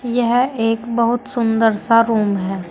यह एक बहुत सुंदर सा रूम है।